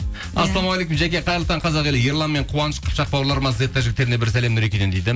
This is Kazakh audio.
ассалаумағалейкум жәке қайырлы таң қазақ елі ерлан мен қуаныш қыпшақ бауырларыма зетта жігіттеріне бір сәлем нұрекеден дейді